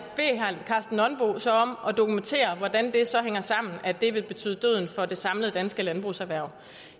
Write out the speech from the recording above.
så om at dokumentere hvordan det så hænger sammen at det vil betyde døden for det samlede danske landbrugserhverv